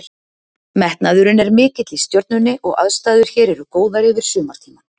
Metnaðurinn er mikill í Stjörnunni og aðstæður hér eru góðar yfir sumartímann.